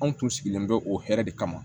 Anw tun sigilen bɛ o hɛrɛ de kama